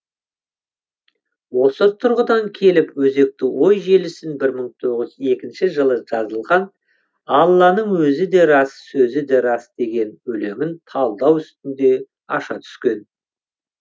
осы тұрғыдан келіп өзекті ой желісін бір мың тоғыз жүз екінші жылы жазылған алланың өзі де рас сөзі де рас деген өлеңін талдау үстінде аша түскен